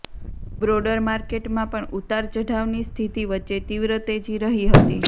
broader માર્કેટમાં પણ ઉતાર ચઢાવની સ્થિતિ વચ્ચે તીવ્ર તેજી રહી હતી